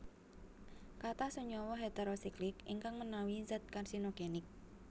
Katah senyawa heterosiklik ingkang menawi zat karsinogenik